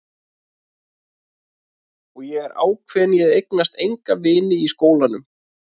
Og ég er ákveðin í að eignast enga vini í skólanum.